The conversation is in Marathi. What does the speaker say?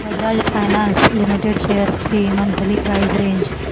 बजाज फायनान्स लिमिटेड शेअर्स ची मंथली प्राइस रेंज